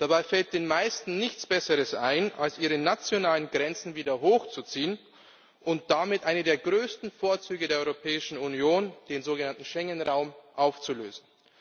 Dabei fällt den meisten nichts Besseres ein, als ihre nationalen Grenzen wieder hochzuziehen und damit einen der größten Vorzüge der Europäischen Union, den sogenannten Schengen Raum, aufzulösen.